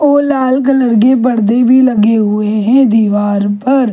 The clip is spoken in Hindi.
को लाल कलर के पर्दे भी लगे हुए हैं दीवार पर--